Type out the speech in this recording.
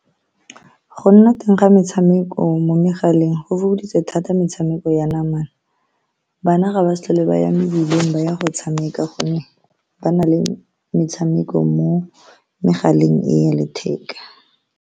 Go nna teng ga metshameko mo megaleng go fokoditse thata metshameko ya namana. Bana ga ba sa tlhole ba ya mebileng ba ya go tshameka ka gonne ba na le metshameko mo megaleng e ya letheka.